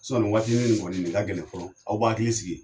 ni waatini kɔni nin ka gɛlɛn fɔlɔ aw b'a hakili sigi.